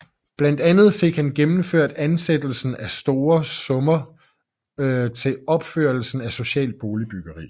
Blandt andet fik han gennemført afsættelse af store summer til opførelsen af socialt boligbyggeri